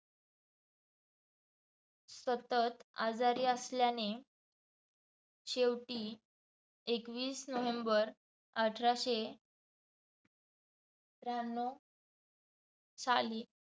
सतत आजारी असल्याने शेवटी एकवीस नोव्हेंबर अठारशे त्र्यांनव साली